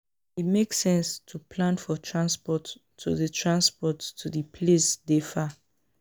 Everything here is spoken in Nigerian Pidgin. E make sense to plan for transport to di transport to di place dey far